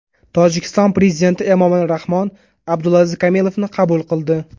Tojikiston prezidenti Emomali Rahmon Abdulaziz Kamilovni qabul qildi.